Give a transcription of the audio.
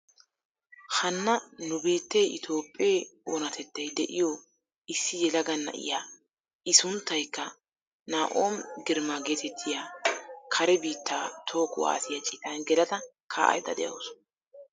Hanna nu biittee itoophphee oonatettay de'iyoo issi yelaga na'iyaa i sunttaykka naomi girma getettiyaa kare biittaa toho kuwaasiyaa citan gelada ka'aydda de'awus.